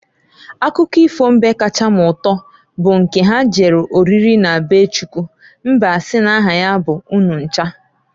Akụkọ ifo mbe kacha m uto bụ nke ha jere oriri na be Chukwu mbe asi n'aha ya bụ Ununcha.